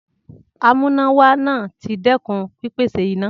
Amúnáwá náà ti dẹ́kun pípèsè iná.